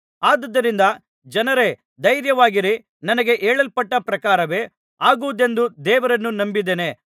ಆದುದರಿಂದ ಜನರೇ ಧೈರ್ಯವಾಗಿರಿ ನನಗೆ ಹೇಳಲ್ಪಟ್ಟ ಪ್ರಕಾರವೇ ಆಗುವುದೆಂದು ದೇವರನ್ನು ನಂಬಿದ್ದೇನೆ